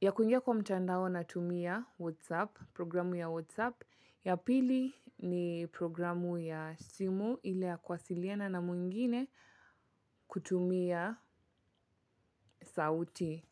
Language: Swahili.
Ya kuingia kwa mtandao natumia WhatsApp program ya WhatsApp. Ya pili ni programu ya simu ili ya kuwasiliana na mwingine kutumia sauti.